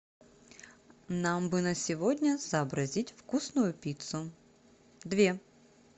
нам бы на сегодня сообразить вкусную пиццу две